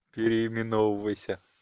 переименовывайся